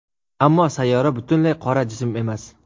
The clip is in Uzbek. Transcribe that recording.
Ammo sayyora butunlay qora jism emas.